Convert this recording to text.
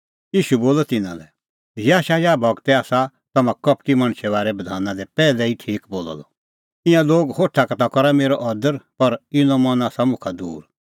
ईशू बोलअ तिन्नां लै इहअ याशायाह गूरै आसा तम्हां कपटी मणछे बारै बधाना दी पैहलै ई ठीक बोलअ द ईंयां लोग होठा का ता करा मेरअ अदर पर इनो मन आसा मुखा दूर